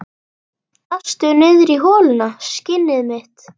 Dastu niðrí holuna, skinnið mitt?